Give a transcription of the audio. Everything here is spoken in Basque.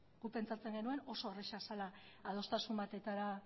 guk pentsatzen genuen oso erraza zela adostasun batetara